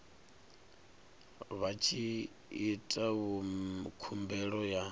vha tshi ita khumbelo ya